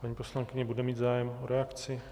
Paní poslankyně bude mít zájem o reakci?